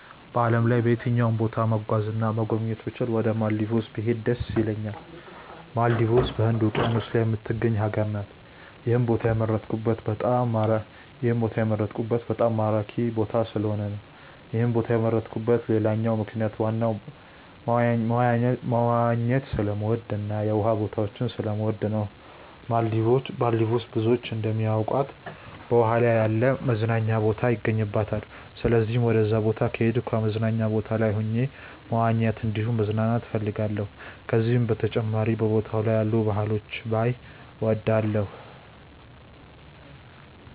በዓለም ላይ በየትኛውም ቦታ መጓዝ እና መጎብኘት ብችል ወደ ማልዲቭስ ብሄድ ደስ ይለኛል። ማልዲቭስ በህንድ ውቂያኖስ ላይ የምትገኝ ሀገር ናት። ይህን ቦታ የመረጥኩት በጣም ማራኪ ቦታ ስለሆነ ነው። ይህን ቦታ የመረጥኩበት ሌላኛው ምክንያት ዋና መዋኘት ስለምወድ እና የውሃ ቦታዎችን ስለምወድ ነው። ማልዲቭስ ብዙዎች እንደሚያውቁት በውሃ ላይ ያለ መዝናኛ ቦታ ይገኝባታል። ስለዚህም ወደዛ ቦታ ከሄድኩ በመዝናኛ ቦታው ላይ ሆኜ መዋኘት እንዲሁም መዝናናት እፈልጋለሁ። ከዚህም በተጨማሪ በቦታው ላይ ያሉ ባህሎችን ባይ እወዳለሁ።